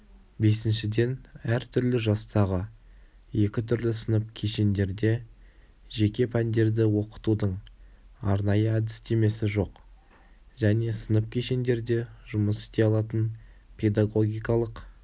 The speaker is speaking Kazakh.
бесіншіден әртүрлі жастағы екі түрлі сынып-кешендерде жеке пәндерді оқытудың арнайы әдістемесі жоқ және сынып-кешендерде жұмыс істей алатын педагогикалық